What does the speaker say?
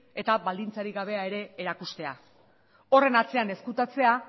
eta baldintzarik gabea ere erakustea horren atzean ezkutatzea